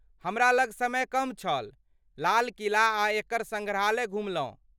हमरा लग समय कम छल, लाल किला आ एकर सङ्ग्रहालय घुमलहुँ।